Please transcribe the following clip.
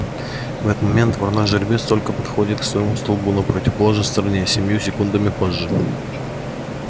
в этот момент вороной жеребец только-только подходит к своему столбу на противоположной стороне семью секундами позже